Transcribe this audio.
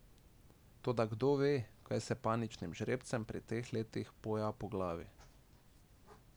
Toda kdo ve, kaj se paničnim žrebcem pri teh letih poja po glavi.